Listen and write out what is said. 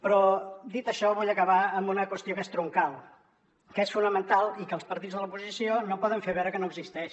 però dit això vull acabar amb una qüestió que és troncal que és fonamental i que els partits de l’oposició no poden fer veure que no existeix